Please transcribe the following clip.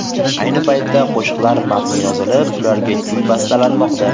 Ayni paytda qo‘shiqlar matni yozilib, ularga kuy bastalanmoqda.